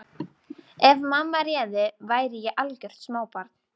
Ef mamma réði væri ég algjört smábarn.